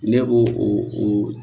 Ne b'o o